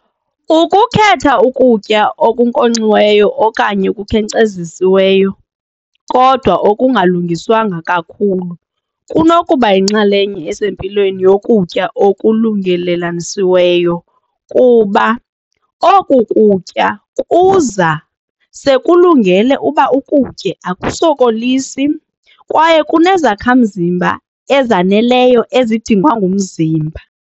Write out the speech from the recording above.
Ukukhetha ukutya okunkonxiweyo okanye okukhenkcezisiweyo kodwa okungalungiswanga kakhulu kunokuba yinxalenye esempilweni yokutya okulungelelanisiweyo kuba oku kutya kuza sekulungele uba ukutye akusokolisi kwaye kunezakhamzimba ezaneleyo ezidingwa ngumzimba.